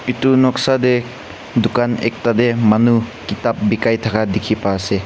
etu noksa tae dukan ekta tae manu kitab bekai thaka dekhi paise.